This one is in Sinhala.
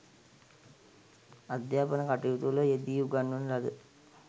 අධ්‍යාපන කටයුතුවල යෙදී උගන්වන ලද